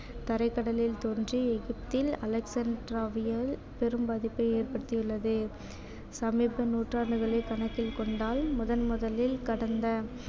தரைக்கடலில் தோன்றி பெரும் பாதிப்பை ஏற்படுத்தியுள்ளது சமீப நூற்றாண்டுகளை கணக்கில் கொண்டால் முதன் முதலில் கடந்த